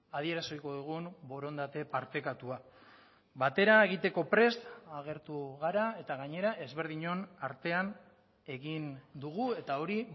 adieraziko dugun borondate partekatua batera egiteko prest agertu gara eta gainera ezberdinon artean egin dugu eta hori